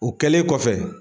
O kɛlen kɔfɛ.